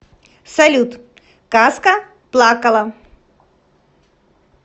салют казка плакала